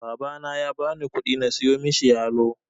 Babana ya bani ƙudi na siyo mishi yalo.